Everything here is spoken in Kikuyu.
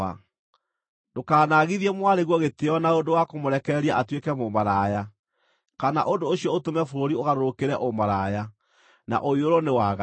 “ ‘Ndũkanaagithie mwarĩguo gĩtĩĩo na ũndũ wa kũmũrekereria atuĩke mũmaraya, kana ũndũ ũcio ũtũme bũrũri ũgarũrũkĩre ũmaraya, na ũiyũrwo nĩ waganu.